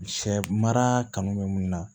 Sɛ mara kanu bɛ mun na